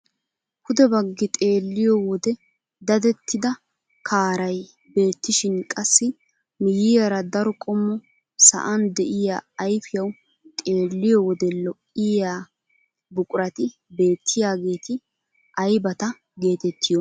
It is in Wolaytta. Pude baggi xeelliyoo wode dadettida kaaray beettishin qassi miyiyaara daro qommo sa'n de'iyaa ayfiyawu xeelliyoo wode lo"iyaa buqurati beettiyaageti aybata geetettiyoonaa?